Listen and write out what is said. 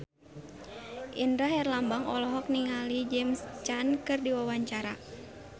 Indra Herlambang olohok ningali James Caan keur diwawancara